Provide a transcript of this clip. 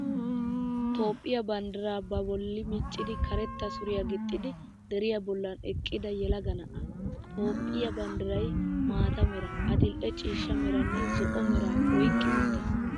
Toophphiyaa banddiraa babolli miccidi karetta suriyaa gixxidi deriyaa bollan eqqida yelaga na'aa. Toophphiyaa banddirayi maata meraa, adil'e cooshsha meraanne zo'o meraa oyqqi uttis.